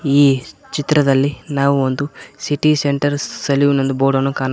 ಈ ಚಿತ್ರದಲ್ಲಿ ನಾವು ಒಂದು ಸಿಟಿ ಸೆಂಟರ್ ಸೆಲ್ಯೂಟ್ ಎಂದು ಬೋರ್ಡನ್ನು ಕಾಣ--